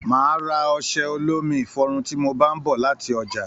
Máa ra ọsẹ olómi ifọrún ti mo bá n bọ láti ọjà.